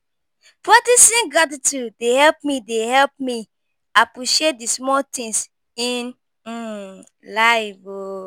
Practicing gratitude dey help me dey help me appreciate the small things in um life. um